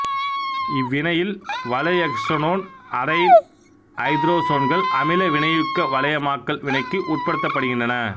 இவ்வினையில் வளையயெக்சனோன் அரைல் ஐதரசோன்கள் அமில வினையூக்க வளையமாக்கல் வினைக்கு உட்படுத்தப்படுகின்றன